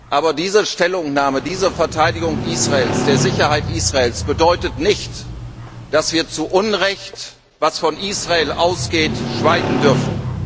Aber diese Stellungnahme, diese Verteidigung der Sicherheit Israels bedeutet nicht, dass wir zu Unrecht, das von Israel ausgeht, schweigen dürfen.